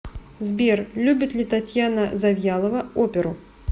сбер любит ли татьяна завьялова оперу